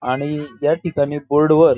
आणि या ठिकाणी बोर्ड वर--